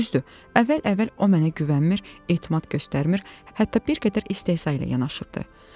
Düzdür, əvvəl-əvvəl o mənə güvənmir, etimad göstərmir, hətta bir qədər istehza ilə yanaşırdı.